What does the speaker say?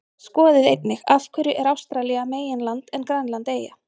Skoðið einnig: Af hverju er Ástralía meginland en Grænland eyja?